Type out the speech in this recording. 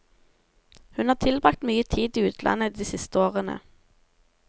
Hun har tilbragt mye tid i utlandet de siste årene.